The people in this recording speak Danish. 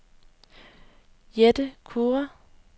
Jette Kure